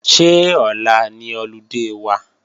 Ṣé ọ̀la ni ọludé wa?